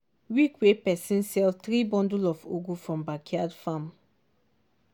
week wey passi sell three bundle of ugu from backyard farm.